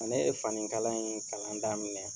Ne ye fani kala in kalan daminɛ .